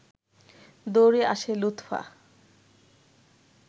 দৌড়ে আসে লুৎফা